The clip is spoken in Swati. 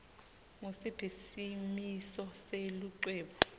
ngusiphi simiso selucwebu